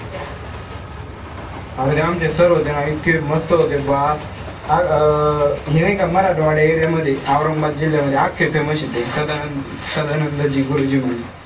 अरे ते आमचे sir होते ना इतके मस्त होते. अं हे नाई का मराठवाडा area मध्ये औरंगाबाद जिल्ह्यामध्ये अक्खे famous ए ते. सदानंद सदानंदजी गुरुजी म्हणून.